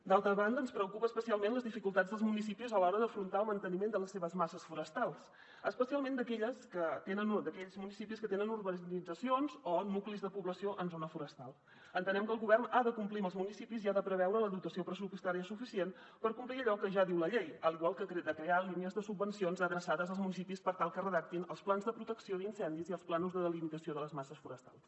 d’altra banda ens preocupen especialment les dificultats dels municipis a l’hora d’afrontar el manteniment de les seves masses forestals especialment d’aquells municipis que tenen urbanitzacions o nuclis de població en zona forestal entenem que el govern ha de complir amb els municipis i ha de preveure la dotació pressupostària suficient per complir allò que ja diu la llei i igualment crear línies de subvencions adreçades als municipis per tal que redactin els plans de protecció d’incendis i els plànols de delimitació de les masses forestals